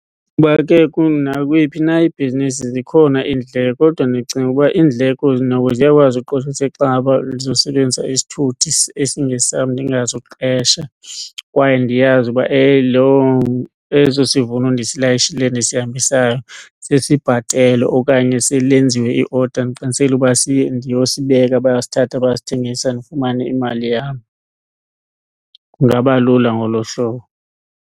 Ukuba ke nakweyiphi na ibhizinisi zikhona indleko kodwa ndicinga ukuba iindleko noko ziyakwazi uqosheliseka xa ngaba ndizosebenzisa isithuthi esingesam ndingazuqesha kwaye ndiyazi uba eso sivuno ndisilayishileyo ndisihambisayo sesibhatelwe okanye selenziwe i-order ndiqinisekile ukuba siye ndiyosibeka bayasithatha bayasithengisa ndifumane imali yam. Kungaba lula ngolo hlobo.